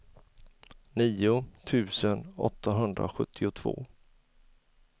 nio tusen åttahundrasjuttiotvå